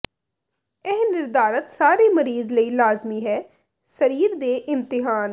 ਇਹ ਨਿਰਧਾਰਤ ਸਾਰੇ ਮਰੀਜ਼ ਲਈ ਲਾਜ਼ਮੀ ਹੈ ਸਰੀਰ ਦੇ ਇਮਤਿਹਾਨ